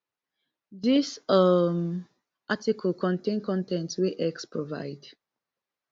dis um article contain con ten t wey x provide